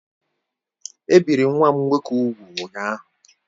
E biri nwa m nwoke úgwù ụnyaahụ